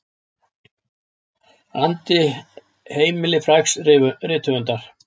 andi heimili frægs rithöfundar.